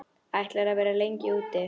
Ætlarðu að vera lengi úti?